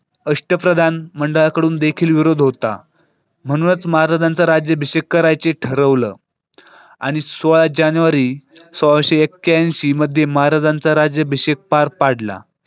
अष्टप्रधान मंडळा कडून देखील विरोध होता म्हणूनच महाराजांचा राज्याभिषेक करायची ठरवलं आणि सोळा जानेवारी सोळाशे एक्क्याईंशी मध्ये महाराजांचा राज्याभिषेक पार पाडला.